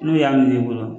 N'u y'a miiri i bolo